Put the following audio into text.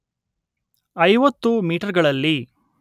ಐವತ್ತು ಮೀಟರ್‍ಗಳಲ್ಲಿ